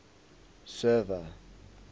server